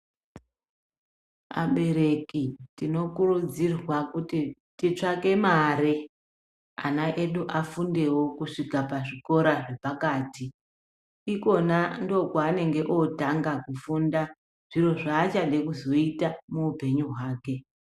Abereki tinokurudzirwa kuti titsvake mare ana edu afundewo kusvika pazvikora zvepakati ikwona ndokwaanenge otanga kufunda zviro zvaachada kuzoita muupenyu hwake.